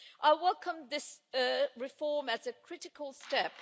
I welcome this reform as a critical step.